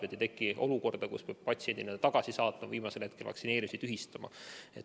Nii ei teki olukorda, et peab patsiendi tagasi saatma ja viimasel hetkel vaktsineerimise tühistama.